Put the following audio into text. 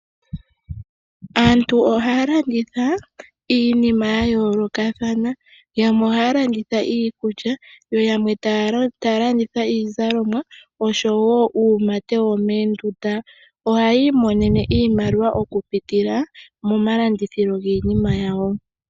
Aantu ohaya landitha iinima yayolokathana yamwe ohaalanditha iikulya, yo yamwe taalanditha iizalomwa, oshowo uumate womendunda. Oha yimonene iimaliwa okupitila moma landithilo giinima yawo.